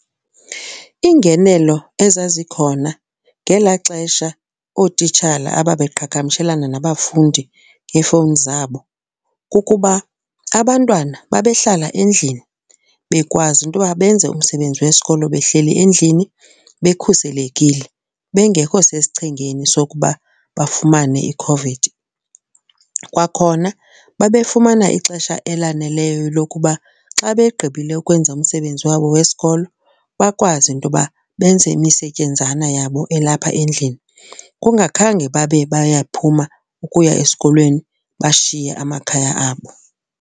Iingenelo ezazikhona ngelaa xesha ootitshala ababeqhagamshelana nabafundi ngeefowuni zabo kukuba abantwana babehlala endlini bekwazi into yoba benze umsebenzi wesikolo behleli endlini bekhuselekile, bengekho sesichengeni sokuba bafumane i-COVID. Kwakhona babefumana ixesha elaneleyo lokuba uba xa begqibile ukwenza umsebenzi wabo wesikolo, bakwazi intoba benze imisetyenzana yabo elapha endlini kungakhange babe bayaphuma ukuya esikolweni bashiye amakhaya abo.